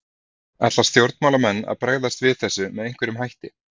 Ætla stjórnmálamenn að bregðast við þessu með einhverjum hætti?